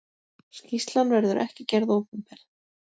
Skýrslan verður ekki gerð opinber.